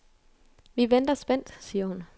Vi venter spændt, siger hun.